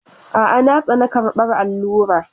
A'a, na tsane karɓar allura.